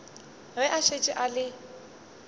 ge a šetše a le